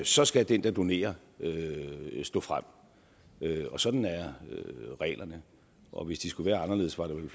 så skal den der donerer stå frem sådan er reglerne og hvis de skulle være anderledes var der vel